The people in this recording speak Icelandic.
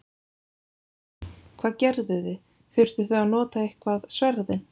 Breki: Hvað gerðuði, þurftuð þið að nota eitthvað sverðin?